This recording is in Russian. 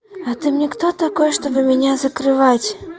а ты мне кто такой чтобы меня закрывать